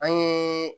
An ye